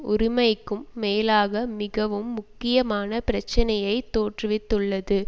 உரிமைக்கும் மேலாக மிகவும் முக்கியமான பிரச்சினையை தோற்றுவித்துள்ளது